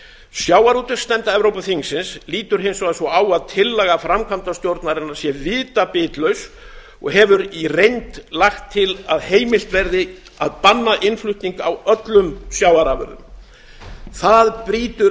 sjávarútvegsnefnd evrópuþingsins lítur hins vegar svo á að tillaga framkvæmdastjórnarinnar sé vitabitlaus og hefur í reynd lagt til að heimilt verði að banna innflutning á öllum sjávarafurðum það brýtur